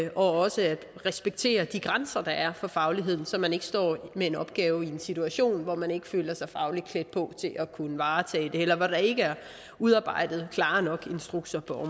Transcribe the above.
er også at respektere de grænser der er for fagligheden så man ikke står med en opgave i en situation hvor man ikke føler sig fagligt klædt på til at kunne varetage det eller hvor der ikke er udarbejdet instrukser på